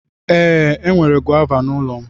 Ee, enwere gọva n'ụlọ m.